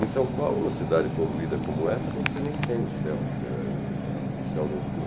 Em São Paulo, uma cidade poluída como essa, você nem tem o céu, eh o céu noturno.